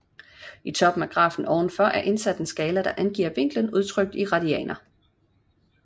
I toppen af grafen ovenfor er indsat en skala der angiver vinklen udtrykt i radianer